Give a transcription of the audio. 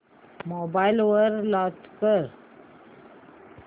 mobile वर launch कर